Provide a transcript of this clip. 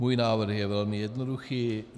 Můj návrh je velmi jednoduchý.